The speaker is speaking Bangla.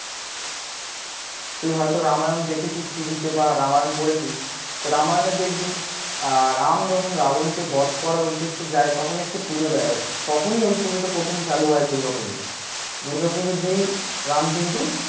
তুই হয়ত রামায়ণ দেখেছিস TV তে বা রামায়ণ পড়েছিস, তো রামায়ণে দেখবি রাম যখন রাবণকে বধ করার উদ্দেশে যায় তখন একটি পূজো দেয় তখনই ঐ পুজোটা প্রথম চালু হয় দূর্গা পুজোটা দূর্গা পুজো দিয়েই রাম কিন্তু